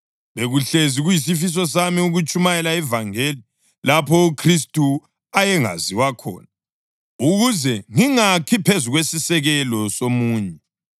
Bekuhlezi kuyisifiso sami ukutshumayela ivangeli lapho uKhristu ayengaziwa khona, ukuze ngingakhi phezu kwesisekelo somunye.